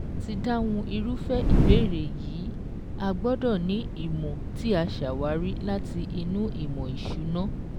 Láti dáhùn irúfé ìbéèrè yìí, a gbọ́dọ̀ ni ìmọ̀ tí a ṣàwárí láti inú ìmọ̀ ìsúná